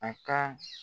A ka